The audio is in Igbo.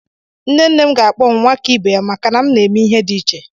Nne nne m ga-akpọ m "Nwakibe ya" maka na m na-eme ihe dị iche.